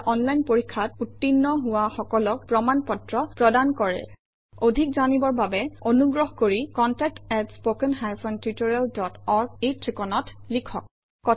এটা অনলাইন পৰীক্ষাত উত্তীৰ্ণ হোৱা সকলক প্ৰমাণ পত্ৰ প্ৰদান কৰে অধিক জানিবৰ বাবে অনুগ্ৰহ কৰি contact at spoken hyphen tutorial dot org এই ঠিকনাত লিখক